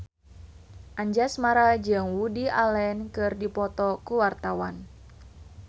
Anjasmara jeung Woody Allen keur dipoto ku wartawan